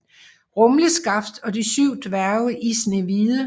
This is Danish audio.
Rumleskaft og de syv dværge i Snehvide